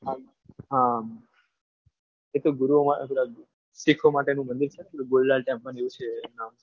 હા એ તો ગુરુદ્વારમાં શીખો માટેનું મંદિર છે ને પેલું golden temple જેવું છે.